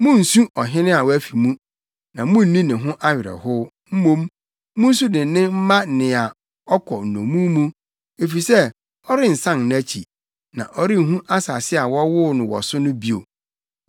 Munnsu ɔhene a wafi mu, na munni ne ho awerɛhow; mmom, munsu dennen mma nea ɔkɔ nnommum mu, efisɛ ɔrensan nʼakyi na ɔrenhu asase a wɔwoo no wɔ so no bio.